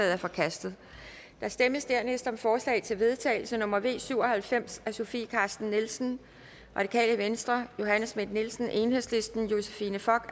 er forkastet der stemmes dernæst om forslag til vedtagelse nummer v syv og halvfems af sofie carsten nielsen johanne schmidt nielsen josephine fock